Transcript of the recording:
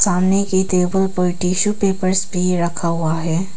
सामने की टेबल पर टिशू पेपर्स भी रखा हुआ है।